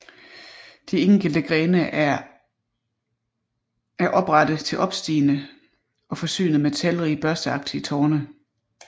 De enkelte grene er oprette til opstigende og forsynet med talrige børsteagtige torne